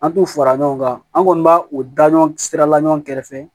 An t'u fara ɲɔgɔn kan an kɔni b'a o da ɲɔgɔn sirala ɲɔgɔn kɛrɛfɛ